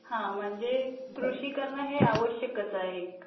हो म्हणजे हे कृषी करण हे आवश्यकच आहे एक